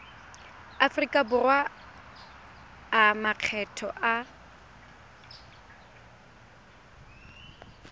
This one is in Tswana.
aforika borwa a makgetho a